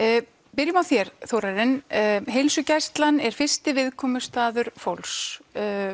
byrjum á þér Þórarinn heilsugæslan er fyrsti viðkomustaður fólks